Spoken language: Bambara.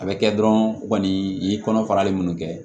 A bɛ kɛ dɔrɔn kɔni i ye kɔnɔfarali minnu kɛ